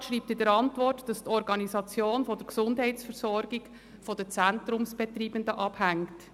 Der Regierungsrat schreibt in seiner Antwort, dass die Organisation der Gesundheitsversorgung von den Zentrumsbetreibenden abhängt.